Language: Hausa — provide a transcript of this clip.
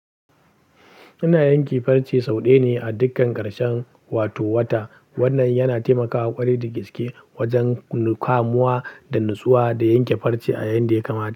Yana yanke farce sau ɗaya ne a dukkan ƙarshen wato wata. Wannan yana taimakawa ƙwarai da gaske wajen kamuwa da natsuwa da yanke farce a yayin da ya kamata.